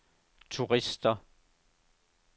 turister